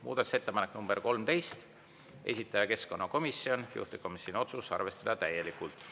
Muudatusettepanek nr 13, esitaja keskkonnakomisjon, juhtivkomisjoni otsus: arvestada täielikult.